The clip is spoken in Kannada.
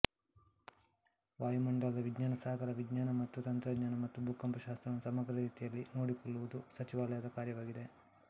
ವಾಯುಮಂಡಲದ ವಿಜ್ಞಾನ ಸಾಗರ ವಿಜ್ಞಾನ ಮತ್ತು ತಂತ್ರಜ್ಞಾನ ಮತ್ತು ಭೂಕಂಪಶಾಸ್ತ್ರವನ್ನು ಸಮಗ್ರ ರೀತಿಯಲ್ಲಿ ನೋಡಿಕೊಳ್ಳುವುದು ಸಚಿವಾಲಯದ ಕಾರ್ಯವಾಗಿದೆ